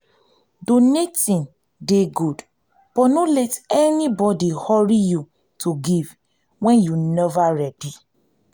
donating dey good but no let anybody hurry you to give wen you nova ready